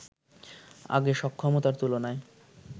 আগে সক্ষমতার তুলনায়